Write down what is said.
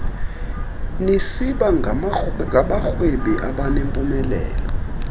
nisiba ngabarhwebi abanempumelelo